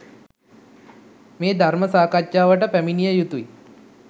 මේ ධර්ම සාකච්ඡාවට පැමිණිය යුතුයි.